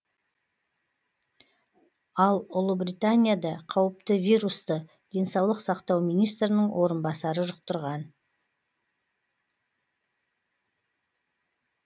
ал ұлыбританияда қауіпті вирусты денсаулық сақтау министрінің орынбасары жұқтырған